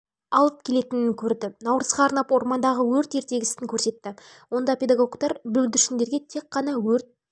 алып келетінін көрді наурызға арнап ормандағы өрт ертегісін көрсетті онда педагогтар бүлдіршіндерге тек қана өрт